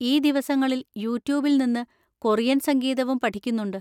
ഈ ദിവസങ്ങളിൽ യൂട്യൂബിൽ നിന്ന് കൊറിയൻ സംഗീതവും പഠിക്കുന്നുണ്ട്.